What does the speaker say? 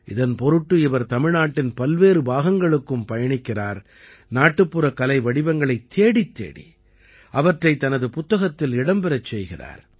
இதன் பொருட்டு இவர் தமிழ்நாட்டின் பல்வேறு பாகங்களுக்கும் பயணிக்கிறார் நாட்டுப்புற கலை வடிவங்களைத் தேடித்தேடி அவற்றைத் தனது புத்தகத்தில் இடம்பெறச் செய்கிறார்